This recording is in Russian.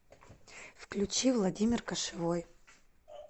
включи владимир кошевой